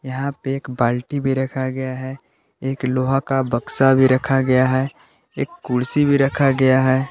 यहां पे एक बाल्टी भी रखा गया है एक लोहा का बक्सा भी रखा गया है एक कुर्सी भी रखा गया है।